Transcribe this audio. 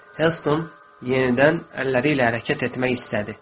Helston yenidən əlləri ilə hərəkət etmək istədi.